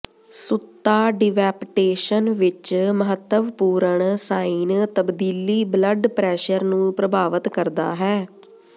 ਸੁੱਤਾ ਡਿਵੈਪਟੇਸ਼ਨ ਵਿਚ ਮਹੱਤਵਪੂਰਣ ਸਾਈਨ ਤਬਦੀਲੀ ਬਲੱਡ ਪ੍ਰੈਸ਼ਰ ਨੂੰ ਪ੍ਰਭਾਵਤ ਕਰਦਾ ਹੈ